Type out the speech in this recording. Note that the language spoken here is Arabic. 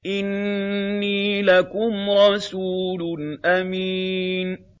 إِنِّي لَكُمْ رَسُولٌ أَمِينٌ